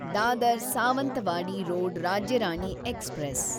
Dadar Sawantwadi road Rajya Rani express